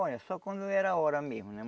Olha, só quando era hora mesmo, né?